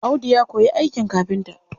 Audu ya koyi aikin kafinta.